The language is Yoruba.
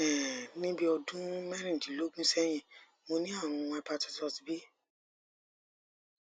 um ni bi odun merindinlogun sehin mo ni arun hapititus b